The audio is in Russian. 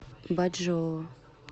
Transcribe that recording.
бачжоу